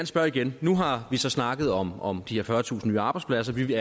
spørge igen nu har vi så snakket om om de her fyrretusind nye arbejdspladser vi